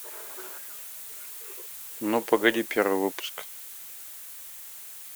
ну погоди первый выпуск